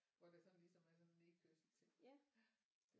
Hvor der sådan ligesom er sådan en nedkørsel til ja